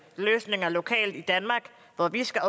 løsninger lokalt i danmark hvor vi skal